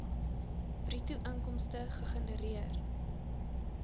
bruto inkomste gegenereer